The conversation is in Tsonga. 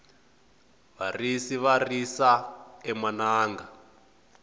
varisi va risa emananga